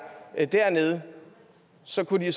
er dernede så kunne de